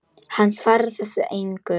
Hann svarar þessu engu.